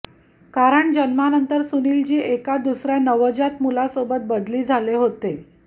कारण जन्मानंतर सुनीलजी एका दुसऱ्या नवजात मुलासोबत बदली झाले होते